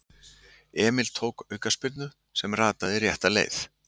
Emil tók aukaspyrnu sem rataði rétta leið.